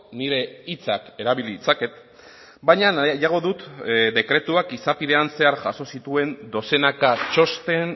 nire hitzak erabil ditzaket baina nahiago dut dekretuak izapidean zehar jaso zituen dozenaka txosten